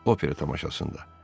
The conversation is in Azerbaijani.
Opera tamaşasında.